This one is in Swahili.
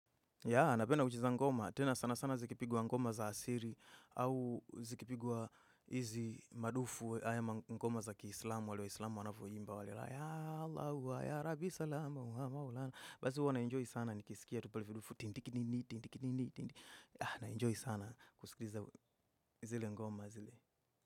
Tena sana sana zikipigwa ngoma za asili au zikipigwa hizi madufu haya ma ngoma za kiislamu wale wa islamu wanavyo imba wale ya Allah hua ya Rabbi salama basi huwa na enjoy sana nikisikia tupalifudufu tindiki nini tindiki nini ya na enjoy sana kuskiza zile ngoma zile.